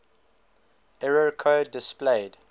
error code displayed